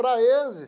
Para eles...